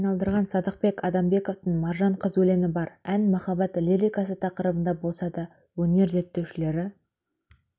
айналдырған садықбек адамбековтың маржан қыз өлеңі бар ән махаббат лирикасы тақырыбында болса да өнер зерттеушілері